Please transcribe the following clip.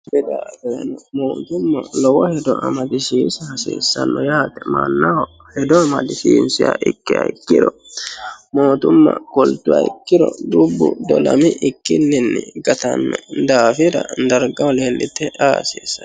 Koni daafira mootimma lowo injo amadisiisa hasiisano yaate mannaho hedo amadisiisiha ikkiro mootumma kultuha ikkiro dubbu dolamikkinni gatano daafira darigaho leellite la'a hasiisano.